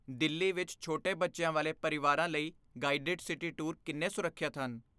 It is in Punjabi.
ਦਿੱਲੀ ਵਿੱਚ ਛੋਟੇ ਬੱਚਿਆਂ ਵਾਲੇ ਪਰਿਵਾਰਾਂ ਲਈ ਗਾਈਡਡ ਸਿਟੀ ਟੂਰ ਕਿੰਨੇ ਸੁਰੱਖਿਅਤ ਹਨ?